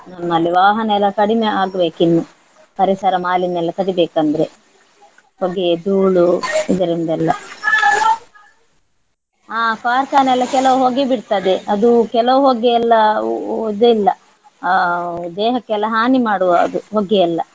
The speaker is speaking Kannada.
ಅಲ್ಲಿ ವಾಹನ ಎಲ್ಲ ಕಡಿಮೆ ಆಗ್ಬೇಕು ಇನ್ನು ಪರಿಸರ ಮಾಲಿನ್ಯ ಎಲ್ಲ ತಡಿಬೇಕಂದ್ರೆ ಹೊಗೆ ಧೂಳು ಇದರಿಂದ ಎಲ್ಲ . ಆ ಕಾರ್ಖಾನೆ ಎಲ್ಲ ಕೆಲವು ಹೊಗೆ ಬಿಡ್ತದೆ ಅದು ಕೆಲವು ಹೊಗೆ ಎಲ್ಲಾ ಇಲ್ಲ ಆ ದೇಹಕ್ಕೆಲ್ಲ ಹಾನಿ ಮಾಡುವದು ಹೊಗೆ ಎಲ್ಲ.